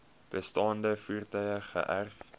bestaande voertuie geërf